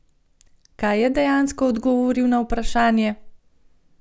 Kaj je dejansko odgovoril na vprašanje?